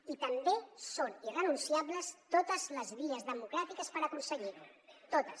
i també són irrenunciables totes les vies democràtiques per aconseguir ho totes